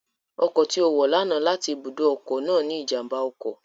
Ọkọ̀ tí ó wọ̀ lánàá láti ibùdó ọkọ̀ náà ní ìjàmbá ọkọ̀